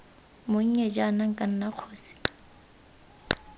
monnye jaana nka nna kgosi